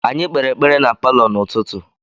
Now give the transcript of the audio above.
Anyị kpere ekpere na palọ n’ụtụtụ.